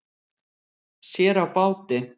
Sér á báti.